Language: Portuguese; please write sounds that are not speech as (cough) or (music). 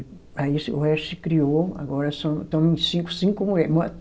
Aí o se, o resto se criou, agora so, estamos em cinco, cinco mulher (unintelligible)